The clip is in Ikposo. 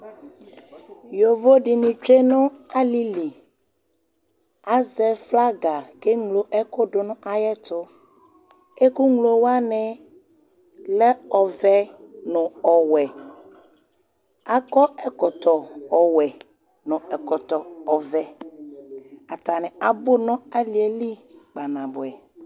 yovodini tsue n'alili, azɛ flaga k'eŋlo ɛku dù nu ayɛtu, ɛku ŋlowani lɛ ɔvɛ nu ɔwɛ, akɔ ɛkɔtɔ ɔwɛ nu ɛkɔtɔ ɔvɛ, atani abu nu aliɛli kpanabuɛ